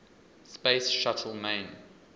space shuttle main